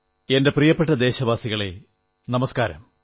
എന്റെ പ്രിയപ്പെട്ട ദേശവാസികൾക്കു നമസ്കാരം